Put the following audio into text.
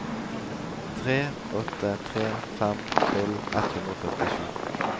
tre åtte tre fem tolv ett hundre og førtisju